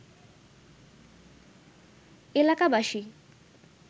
এলাকাবাসী